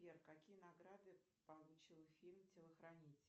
сбер какие награды получил фильм телохранитель